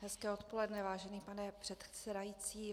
Hezké odpoledne, vážený pane předsedající.